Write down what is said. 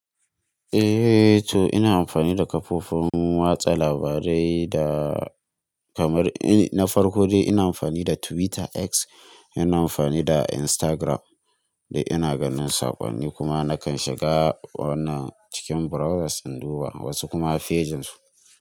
Eh to ina amfani da kafofin watsa labarai da kamar na farko dai ina amfani da Twitter X, ina amfani da Instagram du ina ganin saƙonni kuma nakan shiga wannan cikin browsers in duba wasu kuma fejinsu.